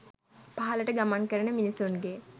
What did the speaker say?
පහලට ගමන් කරන මිනිසුන්ගේ